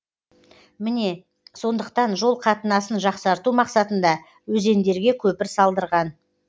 міне сондықтан жол қатынасын жақсарту мақсатында өзендерге көпір салдырған